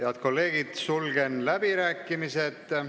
Head kolleegid, sulgen läbirääkimised.